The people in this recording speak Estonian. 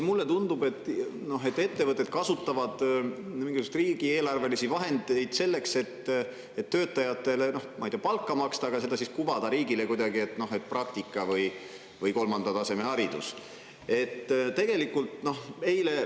Mulle tundub, et ettevõtted kasutavad mingisuguseid riigieelarvelisi vahendeid selleks, et töötajatele, ma ei tea, palka maksta, aga seda siis kuvatakse riigile kuidagi praktika või kolmanda taseme hariduse.